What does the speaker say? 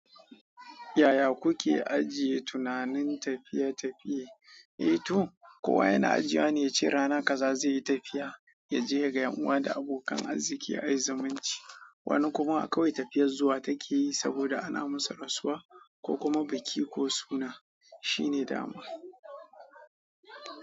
Yaya kuke ajiye tunanin tafiye-tafiye? Eh to kowa yana ajiye wane yace rana kaza zai yi tafiya ya je yaga yan uwa da abokan arziki ayi zumunci. Wani kuma akwai tafiyar zuwa take yi saboda ana musu rasuwa ko kuma biki ko suna. Shi ne dama.